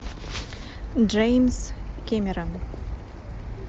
джеймс кэмерон